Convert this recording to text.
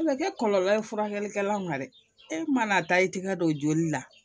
A bɛ kɛ kɔlɔlɔ ye furakɛlikɛla ma dɛ e mana taa i tɛgɛ don joli la